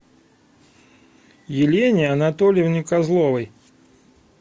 елене анатольевне козловой